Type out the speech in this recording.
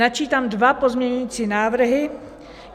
Načítám dva pozměňovací návrhy.